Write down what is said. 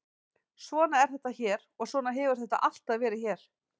Svona er þetta hér og svona hefur þetta alltaf verið hér.